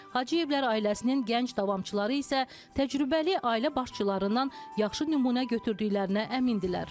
Hacıyevlər ailəsinin gənc davamçıları isə təcrübəli ailə başçılarından yaxşı nümunə götürdüklərinə əmindirlər.